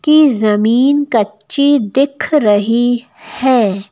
कि जमीन कच्ची दिख रही है।